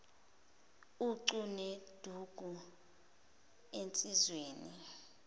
ucu neduku ensizweni